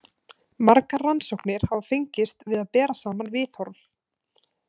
Margar rannsóknir hafa fengist við að bera saman viðhorf.